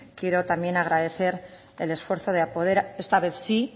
quiero también agradecer el esfuerzo de poder esta vez sí